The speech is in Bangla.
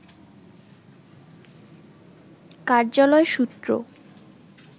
কার্যালয় সূত্র